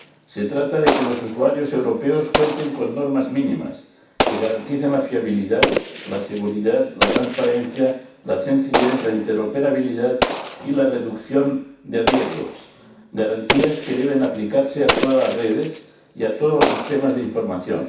Se trata de que los usuarios europeos cuenten con normas mínimas que garanticen la fiabilidad, la seguridad, la transparencia, la sencillez, la interoperabilidad y la reducción de riesgos, garantías que deben aplicarse a todas las redes y a todos los sistemas de información.